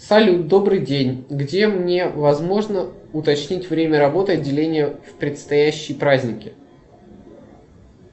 салют добрый день где мне возможно уточнить время работы отделения в предстоящие праздники